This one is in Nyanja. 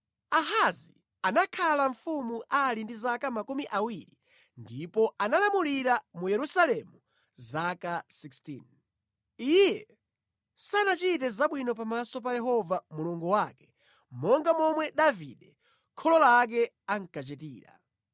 Ahazi anakhala mfumu ali ndi zaka makumi awiri ndipo analamulira mu Yerusalemu zaka 16. Iye sanachite zabwino pamaso pa Yehova Mulungu wake monga momwe Davide kholo lake ankachitira.